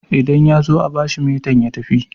idan ya zo a bashi metan ya tafi